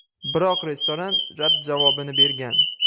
Biroq restoran rad javobini bergan.